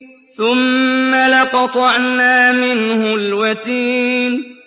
ثُمَّ لَقَطَعْنَا مِنْهُ الْوَتِينَ